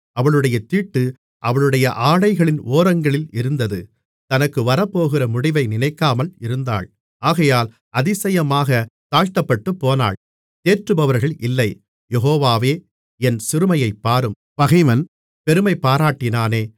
அவளுடைய தீட்டு அவளுடைய ஆடைகளின் ஓரங்களில் இருந்தது தனக்கு வரப்போகிற முடிவை நினைக்காமல் இருந்தாள் ஆகையால் அதிசயமாகத் தாழ்த்தப்பட்டுப்போனாள் தேற்றுபவர்கள் இல்லை யெகோவாவே என் சிறுமையைப் பாரும் பகைவன் பெருமைபாராட்டினானே